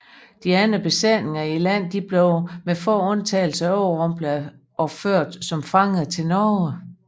De andre besætninger i landet blev med få undtagelser overrumplede og ført som fanger til Norge